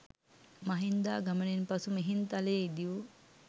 මහින්දාගමනයෙන් පසු මිහින්තලේ ඉදි වූ